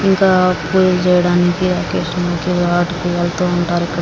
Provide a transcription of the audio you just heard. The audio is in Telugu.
ఇంకా పూజ చేయడానికి ఒకేషన్ కి వాటికి వెళ్తుంటారు ఇక్కడ.